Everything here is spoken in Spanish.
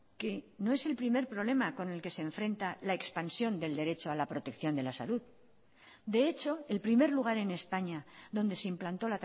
que no es el primer problema con el que se enfrenta la expansión del derecho a la protección de la salud de hecho el primer lugar en españa donde se implantó